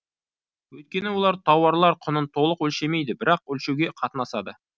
өйткені олар тауарлар құнын толық өлшемейді бірақ өлшеуге қатынасады